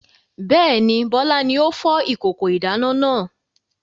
Bẹ́ẹ̀ni, Bọlá ni ó fọ́ ìkókó ìdáná náà.